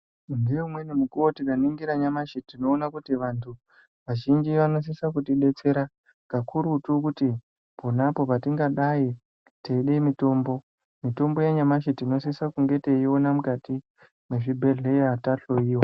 Ngeumweni mukuvo tikaringira nyamashi tinoona kuti vantu vazhinji vanosisa kutibetsera kakurutu kuti ponapo patingadai teide mutombo. Mitombo yanyamashi tinosisa kunge teiona mukati mwezvibhedhleya tahoiwa.